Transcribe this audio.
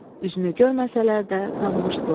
Üzünü görməsələr də, tanımışdılar.